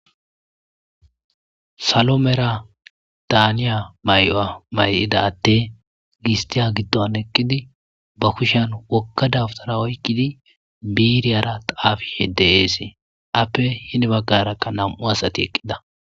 salomera daaniya mayi'wa may'ida adey gistiya giddon eqqidi ba kushan wogga dabtara oykkidi biiriyara taafishe de'esee appe hini baggarakka nam:u asati eqqida